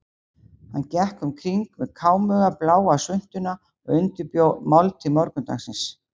Hann gekk um kring með kámuga, bláa svuntuna og undirbjó máltíð morgundagsins.